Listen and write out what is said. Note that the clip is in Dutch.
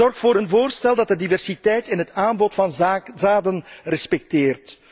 Zorg voor een voorstel dat de diversiteit in het aanbod van zaden respecteert.